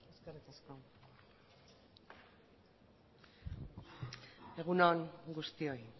eskerrik asko egun on guztioi